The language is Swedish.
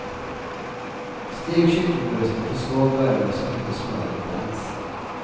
Stek kycklingbrösten på svag värme så att inte smöret bränns.